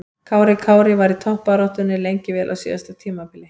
Kári Kári var í toppbaráttunni lengi vel á síðasta tímabili.